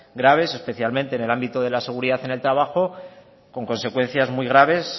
graves especialmente en el ámbito de la seguridad en el trabajo con consecuencias muy graves